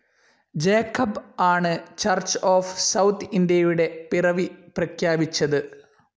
Jacob ആണു് church of south ഇന്ത്യയുടെ പിറവി പ്രഖ്യാപിച്ചതു്.